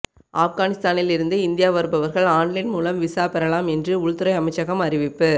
ஆப்கானிஸ்தானில் இருந்து இந்தியா வருபவர்கள் ஆன்லைன் மூலம் விசா பெறலாம் என்று உள்துறை அமைச்சகம் அறிவிப்பு